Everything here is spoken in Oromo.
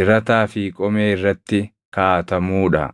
dirataa fi qomee irratti kaaʼatamuu dha.